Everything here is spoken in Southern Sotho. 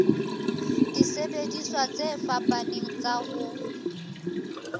disebediswa tse fapaneng tsa ho